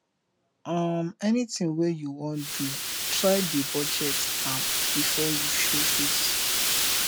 um anytin wey yu wan do try dey budget am bifor yu show face